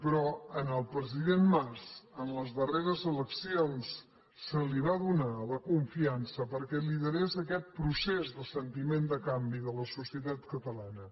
però al president mas en les darreres eleccions se li va donar la confiança perquè liderés aquest procés de sentiment de canvi de la societat catalana